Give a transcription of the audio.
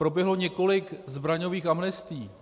Proběhlo několik zbraňových amnestií.